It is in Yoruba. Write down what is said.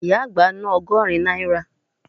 Ìyá àgbá ná ọgọ́rin náírà